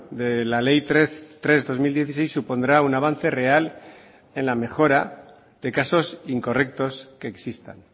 de la ley tres barra dos mil dieciséis supondrá un avance real en la mejora de casos incorrectos que existan